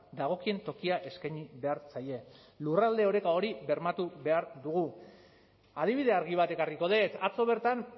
dagokien tokia eskaini behar zaie lurralde oreka hori bermatu behar dugu adibide argi bat ekarriko dut atzo bertan